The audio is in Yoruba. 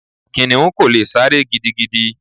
Kìnnìún kò lè sáré gidigidi.